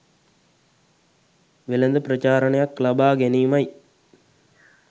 වෙළඳ ප්‍රචාරණයක් ලබා ගැනීමයි